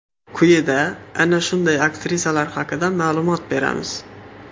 Quyida ana shunday aktrisalar haqida ma’lumot beramiz.